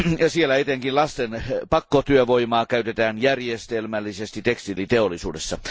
Siellä etenkin lasten pakkotyövoimaa käytetään järjestelmällisesti tekstiiliteollisuudessa.